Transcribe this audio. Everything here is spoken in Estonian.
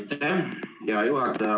Aitäh, hea juhataja!